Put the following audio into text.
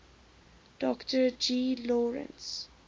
dr g lawrence